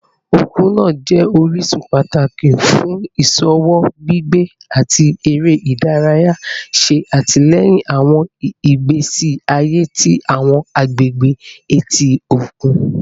Okun naa jẹ orisun pataki fun iṣowo, gbigbe, ati ere idaraya, ṣe atilẹyin awọn igbesi aye ti awọn agbegbe eti okun